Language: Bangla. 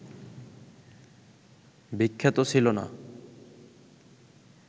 বিখ্যাত ছিল না